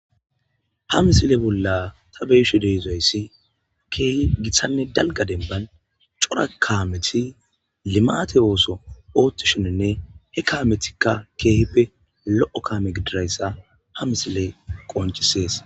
ha misile bolla ta beeshe dehizayssi keehi githanne dalga denban cora kaameti limate ooso oottishoninne he kaametikka keehippe lo7o kaame gidirayssa ha misile qoncisees